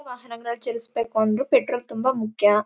ವಾಹನಗಲ್ಲನ್ನ ಚೆಲ್ಸ್ಬೇಕೆಂದ್ರೆ ಪೆಟ್ರೋಲ್ ತುಂಬ ಮುಖ್ಯ.